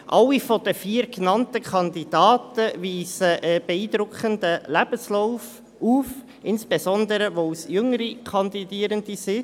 Alle vier der genannten Kandidaten weisen einen beeindruckenden Lebenslauf auf, insbesondere, weil es jüngere Kandidierende sind.